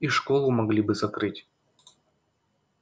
и школу могли бы закрыть